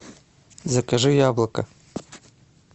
закажи яблоко